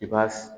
I b'a